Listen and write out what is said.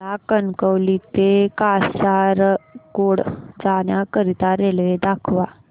मला कणकवली ते कासारगोड जाण्या करीता रेल्वे दाखवा